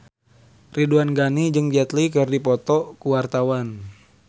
Ridwan Ghani jeung Jet Li keur dipoto ku wartawan